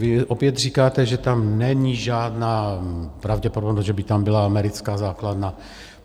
Vy opět říkáte, že tam není žádná pravděpodobnost, že by tam byla americká základna.